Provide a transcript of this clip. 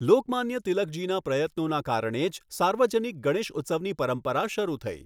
લોકમાન્ય તિલકજીના પ્રયત્નોના કારણે જ સાર્વજનિક ગણેશ ઉત્સવની પરંપરા શરૂ થઈ.